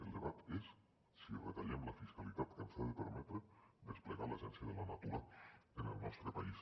el debat és si retallem la fiscalitat que ens ha de permetre desplegar l’agència de la natura en el nostre país